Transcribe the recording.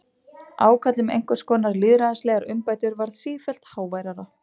Ákall um einhvers konar lýðræðislegar umbætur varð sífellt háværara.